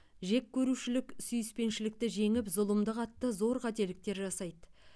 жеккөрушілік сүйіспеншілікті жеңіп зұлымдық атты зор қателіктер жасайды